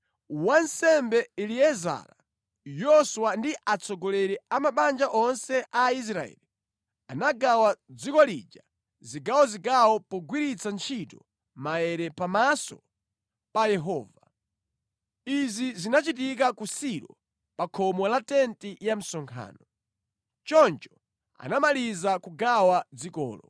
Wansembe Eliezara, Yoswa ndi atsogoleri a mabanja onse a Israeli anagawa dziko lija zigawozigawo pogwiritsa ntchito maere pamaso pa Yehova. Izi zinachitika ku Silo pa khomo la tenti ya msonkhano. Choncho anamaliza kugawa dzikolo.